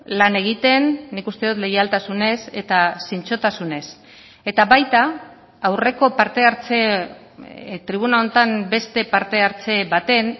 lan egiten nik uste dut leialtasunez eta zintzotasunez eta baita aurreko parte hartze tribuna honetan beste parte hartze baten